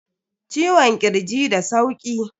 Ciwon kirji da sauki.